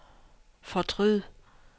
fortryd